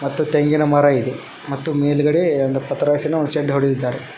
ಮತ್ತು ತೆಂಗಿನ ಮರ ಇದೆ ಮತ್ತು ಮೇಲ್ಗಡೆ ಒಂದು ಪತ್ರಾಸಿನ ಶೆಡ್ ಹೊಡೆದಿದ್ದಾರೆ.